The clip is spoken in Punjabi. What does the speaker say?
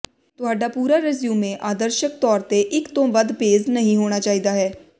ਤੁਹਾਡਾ ਪੂਰਾ ਰੈਜ਼ਿਊਮੇ ਆਦਰਸ਼ਕ ਤੌਰ ਤੇ ਇਕ ਤੋਂ ਵੱਧ ਪੇਜ਼ ਨਹੀਂ ਹੋਣਾ ਚਾਹੀਦਾ ਹੈ